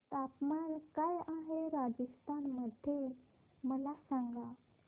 तापमान काय आहे राजस्थान मध्ये मला सांगा